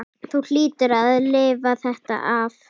Þú hlýtur að lifa þetta af.